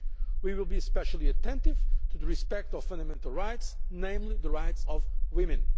We will be especially attentive to the observance of fundamental rights, notably the rights of women.